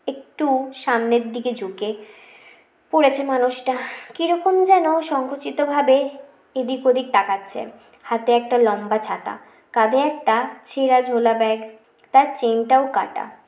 একটু সামনের দিকে ঝুঁকে পরেছে মানুষটা কি রকম যেন সঙ্কুচিত ভাবে এদিক ওদিক তাকাচ্ছে হাতে একটা লম্বা ছাতা কাধে একটা ছেড়া ঝোলা ব্যাগ তার chain টাও কাটা